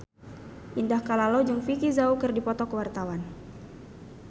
Indah Kalalo jeung Vicki Zao keur dipoto ku wartawan